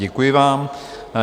Děkuji vám.